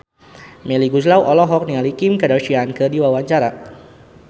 Melly Goeslaw olohok ningali Kim Kardashian keur diwawancara